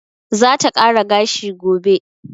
Za ta kara gashi gobe.